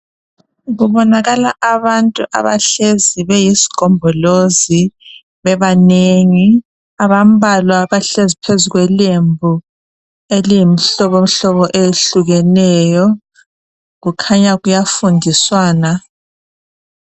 Kubonakala abantu abahlezi beyisgombolozi bebanengi. Abambalwa bahlezi phezu kwelembi eliyimhlobo hlobo eyehlukeneyo .Kukhanya kuyafundiswana.